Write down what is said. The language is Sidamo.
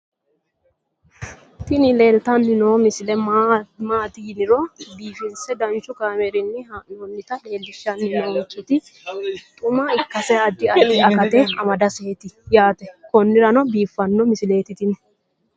tini leeltanni noo misile maaati yiniro biifinse danchu kaamerinni haa'noonnita leellishshanni nonketi xuma ikkase addi addi akata amadaseeti yaate konnira biiffanno misileeti tini